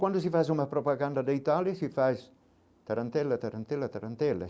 Quando se faz uma propaganda de Itália, se faz tarantela, tarantela, tarantela.